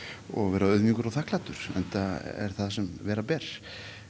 verð auðmjúkur og þakklátur enda er það sem vera ber